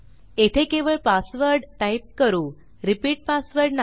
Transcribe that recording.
येथे केवळ password type करू रिपीट पासवर्ड नाही